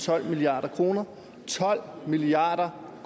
tolv milliard kroner tolv milliard